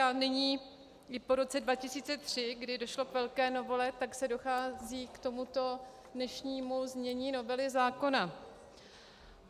A nyní i po roce 2003, kdy došlo k velké novele, tak zde dochází k tomuto dnešnímu znění novely zákona.